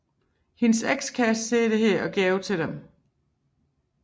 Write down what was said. Hendes ekskæreste ser dette og går over til dem